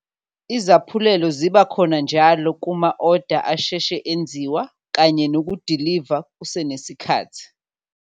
Izaphulelo ziba khona njalo kuma-oda asheshe enziwa kanye nokudiliva kusenesikhathi.